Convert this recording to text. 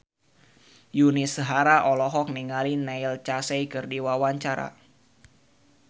Yuni Shara olohok ningali Neil Casey keur diwawancara